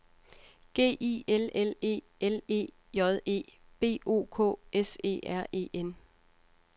G I L L E L E J E B O K S E R E N